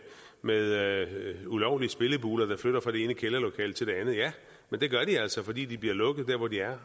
med ulovlige spillebuler der flytter fra det ene kælderlokale til det andet ja men det gør de altså fordi de bliver lukket der hvor de er